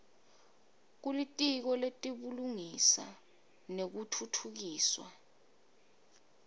kulitiko letebulungisa nekutfutfukiswa